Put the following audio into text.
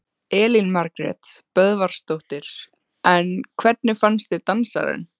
Elín Margrét Böðvarsdóttir: En hvernig fannst þér dansararnir?